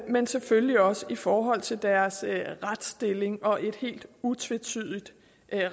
men selvfølgelig også i forhold til deres retsstilling og et helt utvetydigt